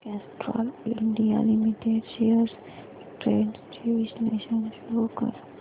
Castrol India limited shares trends चे विश्लेषण show कर